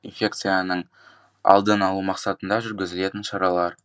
инфекцияның алдын алу мақсатында жүргізілетін шаралар